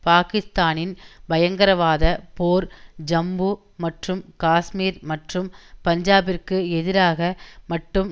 பாகிஸ்தானின் பயங்கரவாத போர் ஜம்பு மற்றும் காஷ்மீர் மற்றும் பஞ்சாபிற்கு எதிராக மட்டும்